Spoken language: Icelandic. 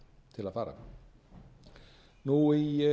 til að fara í